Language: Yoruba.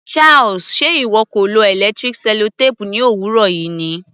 Charles, ṣe ìwọ kò lo electric sellotape ní òwúrọ̀ yìí ni?